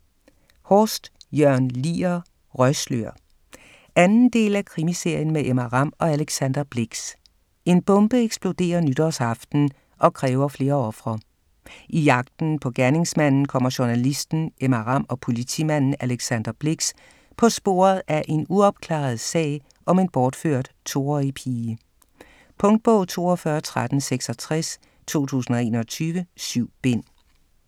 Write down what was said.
Horst, Jørn Lier: Røgslør 2. del af Krimiserien med Emma Ramm og Alexander Blix. En bombe eksploderer nytårsaften og kræver flere ofre. I jagten på gerningsmanden kommer journalisten Emma Ramm og politimanden Alexander Blix på sporet af en uopklaret sag om en bortført 2-årig pige. Punktbog 421366 2021. 7 bind.